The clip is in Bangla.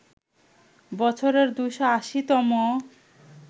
বছরের ২৮০ তম